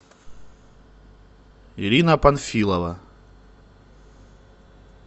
ирина панфилова